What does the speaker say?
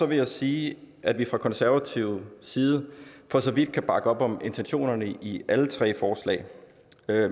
vil jeg sige at vi fra konservativ side for så vidt kan bakke op om intentionerne i alle tre forslag